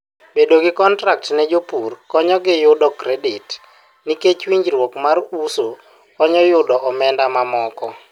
bedo gi contract ne jopur konyogi yudo credit nikech winjruok mar uso konyo yudo omenda mamoko